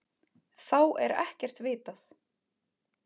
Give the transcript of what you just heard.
Þá er ekkert vitað.